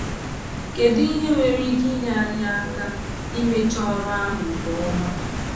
Kèdụ ihe nwere ike inyé anyị aka imecha ọrụ ahụ nke ọma?